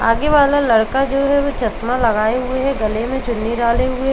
आगे वाला लड़का जो है चश्मा लगाये हुए है। गले मे चुन्नी डाले हुए --